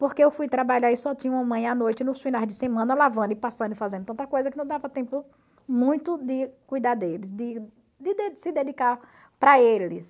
Porque eu fui trabalhar e só tinha uma mãe à noite, nos finais de semana, lavando e passando, fazendo tanta coisa que não dava tempo muito de cuidar deles, de de se dedicar para eles.